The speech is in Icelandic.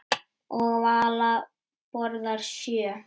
Og Vala borðaði sjö.